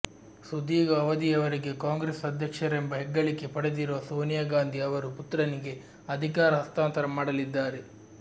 ಸುದೀಘ ಅವಧಿವರೆಗೆ ಕಾಂಗ್ರೆಸ್ ಆಧ್ಯಕ್ಷರೆಂಬ ಹೆಗ್ಗಳಿಕೆ ಪಡೆದಿರುವ ಸೋನಿಯಾ ಗಾಂಧಿ ಅವರು ಪುತ್ರನಿಗೆ ಅಧಿಕಾರ ಹಸ್ತಾಂತರ ಮಾಡಲಿದ್ದಾರೆ